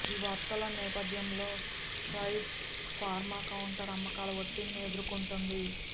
ఈ వార్తల నేపథ్యంలో స్ట్రైడ్స్ ఫార్మా కౌంటర్ అమ్మకాల ఒత్తిడిని ఎదుర్కొంటోంది